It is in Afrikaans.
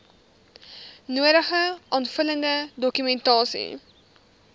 nodige aanvullende dokumentasie